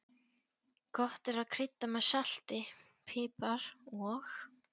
Gott er að krydda með salti, pipar og